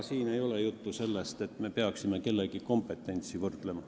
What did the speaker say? Siin ei ole juttu sellest, et me peaksime kellegi kompetentsi võrdlema.